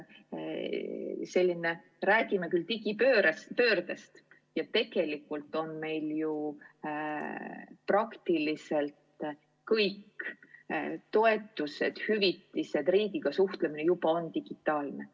Me räägime digipöördest ja tegelikult ongi meil praktiliselt kõik toetused, hüvitised, riigiga suhtlemine digitaalne.